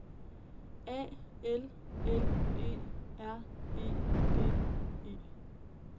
A L L E R E D E